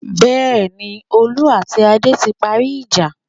Bẹ́ẹ̀ni, Olú àti Adé ti parí ìjà.